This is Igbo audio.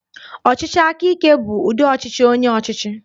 Ọchịchị aka ike bụ ụdi ọchịchị onye ọchịchị